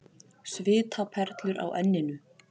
Svitaperlur á enninu.